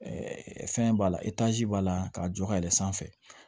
fɛn b'a la b'a la k'a jɔ ka yɛlɛn sanfɛ